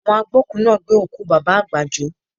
Àwọn agbókùú náà gbé òkú Bàbá àgbà jó